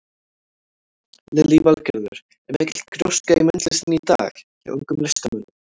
Lillý Valgerður: Er mikil gróska í myndlistinni í dag hjá ungum listamönnum?